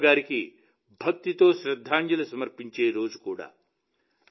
కరియప్ప గారికి భక్తితో శ్రద్దాంజలి సమర్పించే రోజు కూడా